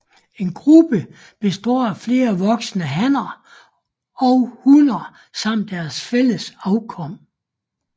En gruppe består af flere voksne hanner og hunner samt deres fælles afkom